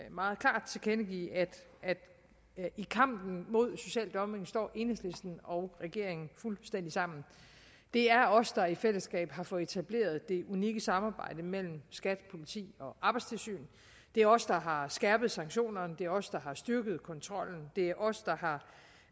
meget klart tilkendegive at i kampen mod social dumping står enhedslisten og regeringen fuldstændig sammen det er os der i fællesskab har fået etableret det unikke samarbejde mellem skat politi og arbejdstilsyn det er os der har skærpet sanktionerne det er os der har styrket kontrollen det er os der